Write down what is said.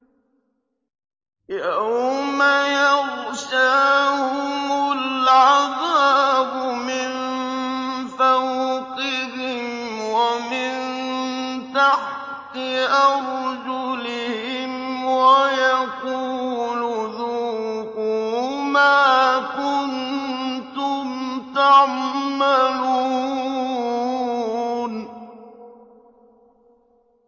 يَوْمَ يَغْشَاهُمُ الْعَذَابُ مِن فَوْقِهِمْ وَمِن تَحْتِ أَرْجُلِهِمْ وَيَقُولُ ذُوقُوا مَا كُنتُمْ تَعْمَلُونَ